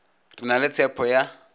re na le tshepho ya